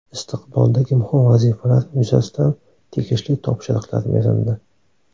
Istiqboldagi muhim vazifalar yuzasidan tegishli topshiriqlar berildi.